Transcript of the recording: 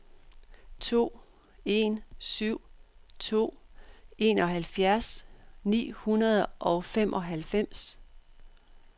to en syv to enoghalvfjerds ni hundrede og femoghalvfems